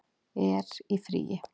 er í fríi